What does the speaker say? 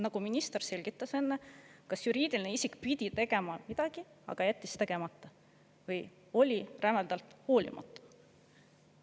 Nagu minister selgitas enne, kas juriidiline isik pidi tegema midagi, aga jättis tegemata, või oli rämedalt hoolimatu.